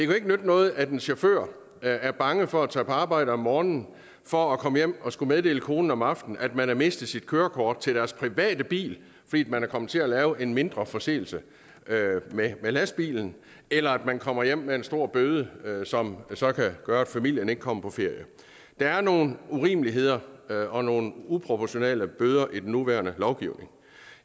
jo ikke nytte noget at en chauffør er bange for at tage på arbejde om morgenen og for at komme hjem og skulle meddele konen om aftenen at man har mistet sit kørekort til sin private bil fordi man er kommet til at lave en mindre forseelse med lastbilen eller at man kommer hjem med en stor bøde som så kan gøre at familien ikke kommer på ferie der er nogle urimeligheder og nogle uproportionale bøder i den nuværende lovgivning